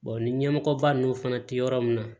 ni ɲɛmɔgɔba ninnu fana tɛ yɔrɔ min na